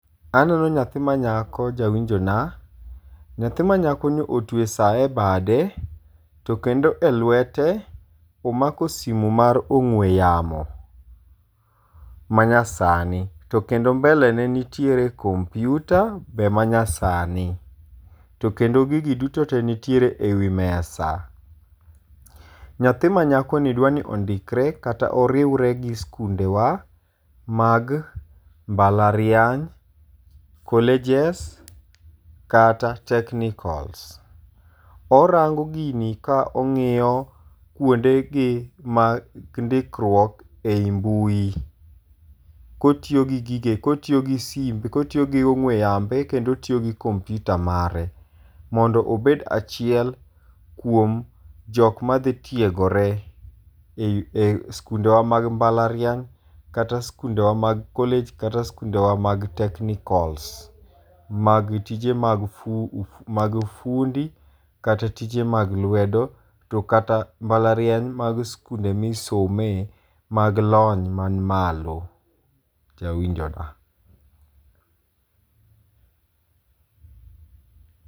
Aneno nyathi manyako jawinjo na. Nyathi ma nyako ni otweyo sa e bade, to kendo e lwete omako simu mar ong'we yamo ma nyasani. To kendo mbele ne nitiere kompiuta, be ma nyasani. To kendo gigi duto te nitiere e wi mesa. Nyathi manyako ni dwani ni ondikre kata oriwre gi skunde wa mag mbalariany, colleges kata technicals. Orango gini ka ongi'yo kuonde gi mag ndikruok ei mbui. Kotiyo gi gige, kotiyo gi simbe, kotiyo gi ong'we yambe, kendo otiyo gi kompiuta mare. Mondo obed achiel kuom jok ma dhi tiegore ei skunde wa mag mbalariany, kata skunde wa mag college, kata skunde wa mag technicals mag tije mag fundi, kata tije mag lwedo, to kata mbalariany mag skunde misome mag lony man malo. Jawinjo na.